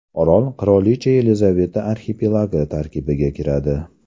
Orol Qirolicha Yelizaveta arxipelagi tarkibiga kiradi.